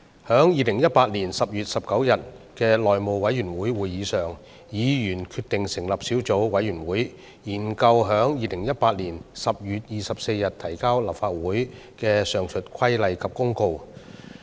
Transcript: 在2018年10月19日的內務委員會會議上，議員決定成立小組委員會，研究在2018年10月24日提交立法會的上述規例及公告。